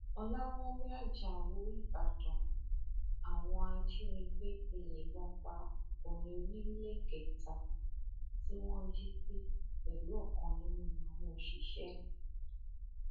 ọlàwálẹ ajáò ìbàdàn àwọn ajìnigbẹ ti yìnbọn pa ọkùnrin oníléekétà tí wọn jí gbé pẹlú ọkan nínú àwọn òṣìṣẹ ẹ